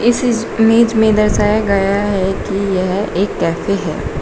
इस इस इमेज में दर्शाया गया है कि यह एक कैफे है।